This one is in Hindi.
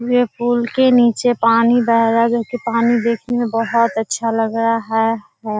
ये पुल के निचे पानी बह रहा है जो की ये पानी देखने में बहुत अच्छा लग रहा है।